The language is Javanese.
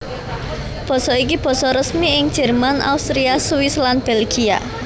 Basa iki basa resmi ing Jerman Austria Swiss lan Belgia